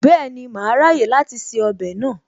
Bẹ́ẹ̀ni, màá ráyè láti se ọbẹ̀ náà